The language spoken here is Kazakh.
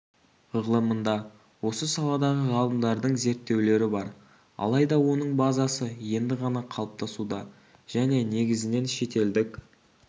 ғылымында осы саладағы ғалымдардың зерттеулері бар алайда оның базасы енді ғана қалыптасуда және негізінен шетелдік